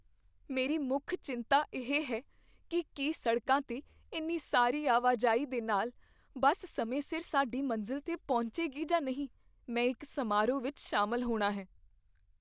ਮੇਰੀ ਮੁੱਖ ਚਿੰਤਾ ਇਹ ਹੈ ਕੀ ਕੀ ਸੜਕਾਂ 'ਤੇ ਇੰਨੀ ਸਾਰੀ ਆਵਾਜਾਈ ਦੇ ਨਾਲ ਬੱਸ ਸਮੇਂ ਸਿਰ ਸਾਡੀ ਮੰਜ਼ਿਲ 'ਤੇ ਪਹੁੰਚੇਗੀ ਜਾਂ ਨਹੀਂ। ਮੈਂ ਇੱਕ ਸਮਾਰੋਹ ਵਿੱਚ ਸ਼ਾਮਲ ਹੋਣਾ ਹੈ।